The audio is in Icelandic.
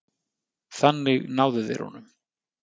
Þannig náðu þeir honum